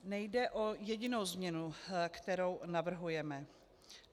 Nejde o jedinou změnu, kterou navrhujeme.